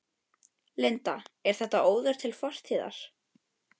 Linda: Er þetta óður til fortíðar?